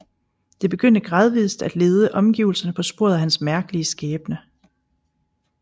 Det begyndte gradvist at lede omgivelserne på sporet af hans mærkelige skæbne